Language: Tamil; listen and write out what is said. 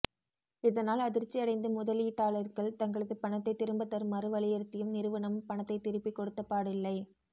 இதனால் அதிர்ச்சி அடைந்த முதலீட்டாளர்கள் தங்களது பணத்தை திரும்ப தருமாறு வலியுறுத்தியும் நிறுவனம் பணத்தை திருப்பி கொடுத்தப்பாடில்லை